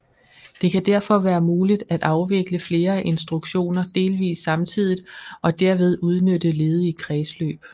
Det kan derfor være muligt at afvikle flere instruktioner delvist samtidigt og derved udnytte ledige kredsløb